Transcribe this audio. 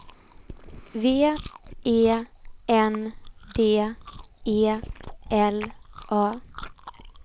V E N D E L A